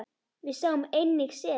Við sáum einnig seli.